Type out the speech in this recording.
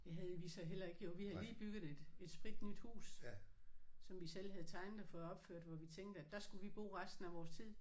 Det havde vi så heller ikke jo vi havde lige bygget et et spritnyt hus som vi selv havde tegnet og fået opført hvor vi tænkte at der skulle vi bo resten af vores tid